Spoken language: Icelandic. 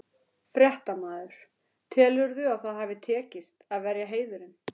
Fréttamaður: Telurðu að það hafi tekist, að verja heiðurinn?